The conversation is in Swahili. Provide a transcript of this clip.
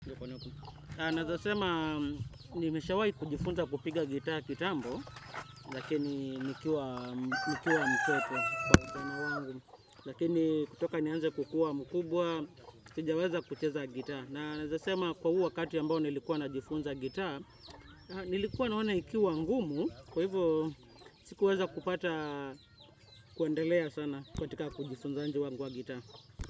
Naezasema nimeshawai kujifunza kupiga gitaa kitambo, lakini nikiwa mtoto kwa ujana wangu, lakini kutoka nianze kukua mkubwa, sijaweza kucheza gitaa na. Naezasema kwa huu wakati ambao nilikuwa najifunza gitaa, nilikuwa naona ikiwa ngumu, kwa hivo sikuweza kupata kuendelea sana katika kujifunzaji wangu wa gitaa.